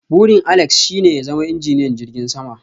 Burin Alex's shine ya zama injiniyan jirgin sama.